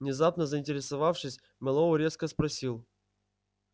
внезапно заинтересовавшись мэллоу резко спросил